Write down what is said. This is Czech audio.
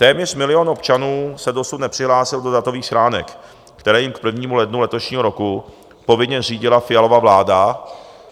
Téměř milion občanů se dosud nepřihlásil do datových schránek, které jim k 1. lednu letošního roku povinně zřídila Fialova vláda.